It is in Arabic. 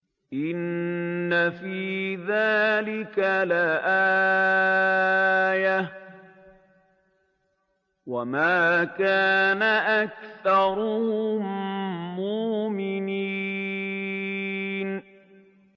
إِنَّ فِي ذَٰلِكَ لَآيَةً ۖ وَمَا كَانَ أَكْثَرُهُم مُّؤْمِنِينَ